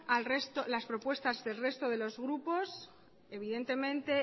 a las propuestas del resto de los grupos evidentemente